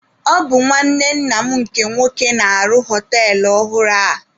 Ọ bụ nwanne nna m nke nwoke na-arụ họtelụ ọhụrụ a.